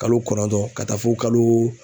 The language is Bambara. Kalo kɔnɔntɔn ka taa fɔ kalo